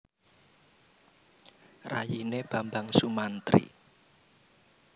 Rayine Bambang Sumantri